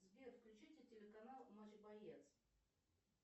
сбер включите телеканал матч боец